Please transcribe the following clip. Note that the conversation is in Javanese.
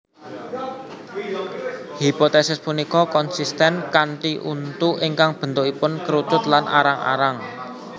Hipotesis punika konsisten kanthi untu ingkang bentukipun kerucut lan arang arang